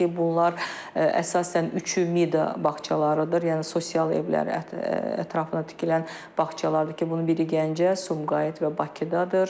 bunlar əsasən üçü Mida bağçalarıdır, yəni sosial evlərin ətrafında tikilən bağçalardır ki, bunun biri Gəncə, Sumqayıt və Bakıdadır.